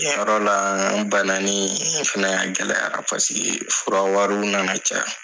Yen Yɔrɔ la a nana bananen fana a gɛlɛyara paseke fura wariw nana caya.